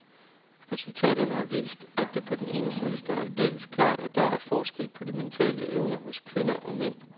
Resultaterne har vist, at det på den ene side står aldeles klart, at der er forskel på de mentale evner hos kvinder og mænd.